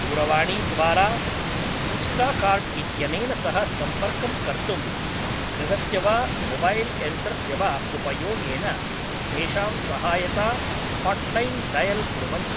दूरवाणीद्वारा इन्स्टाकार्ट् इत्यनेन सह सम्पर्कं कर्तुं गृहस्य वा मोबैल् यन्त्रस्य वा उपयोगेन तेषां सहायता हाट्लैन् डयल् कुर्वन्तु ।